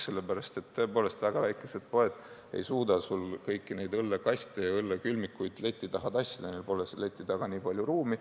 Sest tõepoolest, väga väikesed poed ei suuda kõiki neid õllekaste ja õllekülmikuid leti taha tassida, neil pole seal leti taga nii palju ruumi.